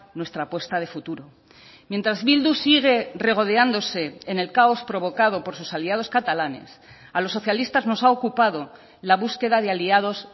nuestra apuesta de futuro mientras bildu sigue regodeándose en el caos provocado por sus aliados catalanes a los socialistas nos ha ocupado la búsqueda de aliados